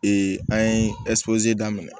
an ye daminɛ